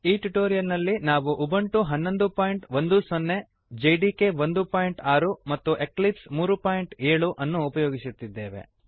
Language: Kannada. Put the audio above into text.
ಈ ಟ್ಯುಟೋರಿಯಲ್ ನಲ್ಲಿ ನಾವು ಉಬುಂಟು 1110 ಹನ್ನೊಂದು ಬಿಂದು ಹತ್ತು ಜೆಡಿಕೆ 16 ಒಂದು ಬಿಂದು ಆರು ಮತ್ತು ಎಕ್ಲಿಪ್ಸ್ 37 ಮೂರು ಬಿಂದು ಏಳು ಅನ್ನು ಉಪಯೋಗಿಸುತ್ತಿದ್ದೇವೆ